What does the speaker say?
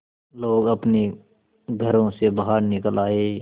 लोग अपने घरों से बाहर निकल आए